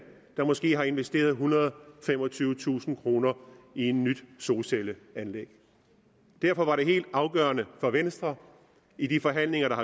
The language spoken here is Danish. der måske har investeret ethundrede og femogtyvetusind kroner i et nyt solcelleanlæg derfor var det helt afgørende for venstre i de forhandlinger der